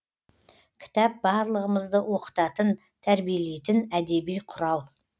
кітап барлығымызды оқытатын тәрбиелейтін әдеби құрал